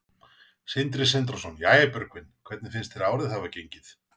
Sindri Sindrason: Jæja, Björgvin, hvernig finnst þér árið hafa gengið?